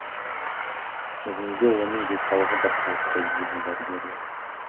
бүгінде оның денсаулығы бірқалыпты дейді дәрігерлер